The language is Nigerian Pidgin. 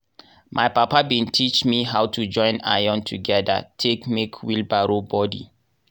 my papa bin teach me how to join iron togedir take make wheelbarrow bodi.